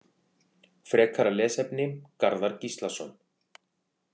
Frekara lesefni: Garðar Gíslason.